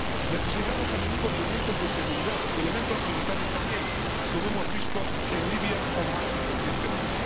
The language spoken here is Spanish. Necesitamos a menudo elementos de seguridad, elementos militares también, como hemos visto en Libia o Mali recientemente.